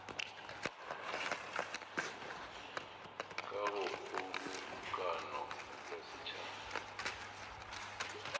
ka go kgobokano ya setšhaba